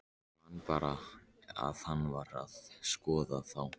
Man bara að hann var að skoða þá.